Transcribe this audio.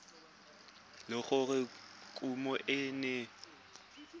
le gore kumo e ne